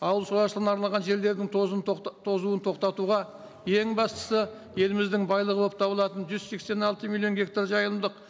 ауыл шаруашылығына арналған жерлердің тозым тозуын тоқтатуға ең бастысы еліміздің байлығы болып табылатын жүз сексен алты миллион гектар жайымдылық